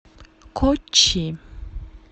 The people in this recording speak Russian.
коччи